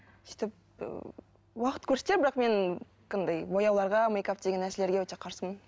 сөйтіп ы уақыт көрсетер бірақ мен андай бояуларға мейкап деген нәрселерге өте қарсымын